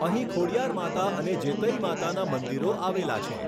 અહીં ખોડિયાર માતા અને જેતઈ માતાના મંદિરો આવેલા છે.